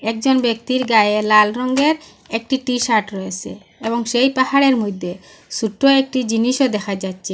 একজন ব্যক্তির গায়ে লাল রঙ্গের একটি টি-শার্ট রয়েসে এবং সেই পাহাড়ের মইদ্যে সোট্ট একটি জিনিসও দেখা যাচ্চে।